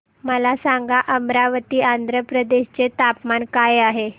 मला सांगा अमरावती आंध्र प्रदेश चे तापमान काय आहे